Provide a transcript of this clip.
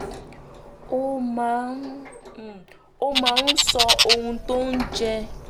ó máa um ń ó máa ń sọ ohun tó ń jẹ